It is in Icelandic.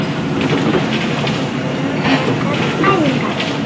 Mikil vinna, margar æfingar